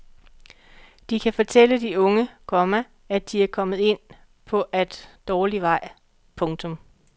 De kan fortælle de unge, komma at de er kommet ind på at dårlig vej. punktum